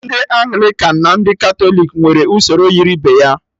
Ndị Anglịkan na ndị Katọlik nwere usoro yiri ibe ya